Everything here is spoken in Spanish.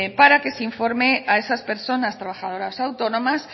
para que se informe a esas personas trabajadoras autónomas